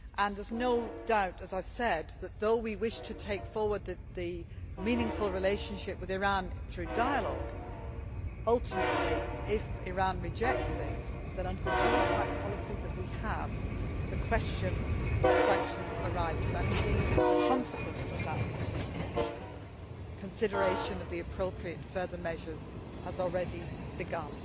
There is no doubt, as I have said, that, though we wish to take forward the meaningful relationship with Iran through dialogue, ultimately, if Iran rejects this, then, under the dual track policy that we have, the question of sanctions arises and, indeed, as a consequence of that meeting, consideration of the appropriate further measures has already begun.